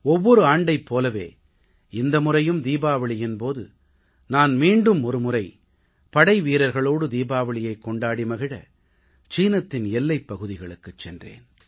ஒவ்வொரு ஆண்டைப் போலவே இந்த முறையும் தீபாவளியின் போது நான் மீண்டும் ஒரு முறை படை வீரர்களோடு தீபாவளியைக் கொண்டாடி மகிழ சீன எல்லைப் பகுதிகளுக்குச் சென்றேன்